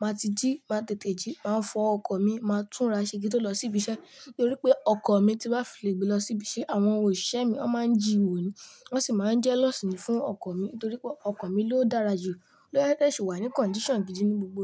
máa ti jí, máa tètè jí, máa fọ ọkọ̀ mi, máa túnra ṣe gé tó lọ sí ibi iṣẹ́ nítorí pé ọkọ̀ mi tí bá file gbe lọ sí ibi iṣẹ́, àwọn òṣìṣẹ́ mi ó máa ń jíwo ni, wọ́n sì máa ń jelos mi fún ọkọ̀ mi nítorí pé ọkọ̀ mi ló dára jù, ló yẹ kí ẹ ṣe wà ní condition gidi ní gbogbo.